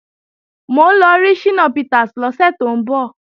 Mò ń lọ rí Ṣínà Peters lọ́sẹ̀ tó ń bọ̀